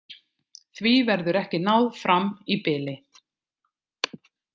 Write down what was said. Því verður ekki náð fram í bili.